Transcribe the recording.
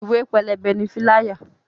Ìwé pélébé ni "fíláyà"